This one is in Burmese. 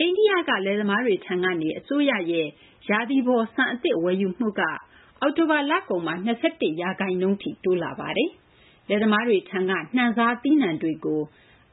အိန္ဒိယ လယ်သမားတွေထံက အစိုးရရဲ့ ရာသီပေါ် ဆန် အသစ် ဝယ်ယူမှုက အောက်တိုဘာ လကုန်မှာ ၂၁ ရာခိုင်နှုန်းထိ တိုးလာပါတယ်။ လယ်သမားတွေထံက နှံစား သီးနှံတွေကို